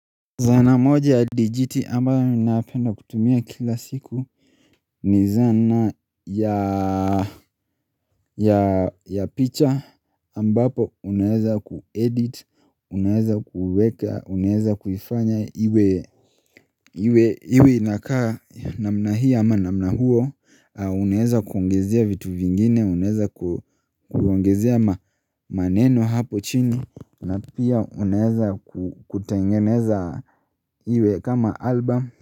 Zaana moja ya digiti ambayo minapenda kutumia kila siku ni zana ya ya picha ambapo unaeza kuedit unaeza kuweka unaeza kuifanya iwe iwe inakaa namna hii ama namna huo unaeza kuongezea vitu vingine unaeza kuongezea maneno hapo chini na pia unaeza kutengeneza iwe kama album.